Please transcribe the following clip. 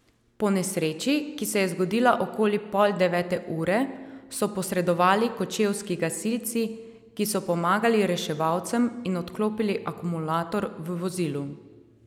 Po nesreči, ki se je zgodila okoli pol devete ure, so posredovali kočevski gasilci, ki so pomagali reševalcem in odklopili akumulator v vozilu.